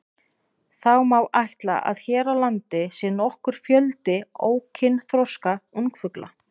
Því má ætla að hér á landi sé nokkur fjöldi ókynþroska ungfugla.